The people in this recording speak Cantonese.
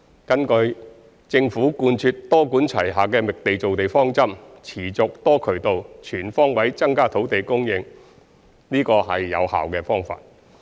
根據政府貫徹多管齊下的覓地造地方針，持續、多渠道、全方位增加土地供應，這是有效的方法。